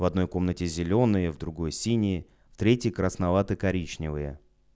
в одной комнате зелёные в другой синие в третьей красновато-коричневые